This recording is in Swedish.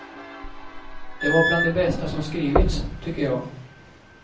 Det var bland det bästa som skrivits, tycker jag.